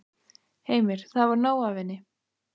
Heimir: Það var nóg af henni?